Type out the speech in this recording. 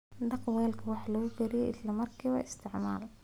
Dhaq weelka wax lagu kariyo isla markaaba isticmaal.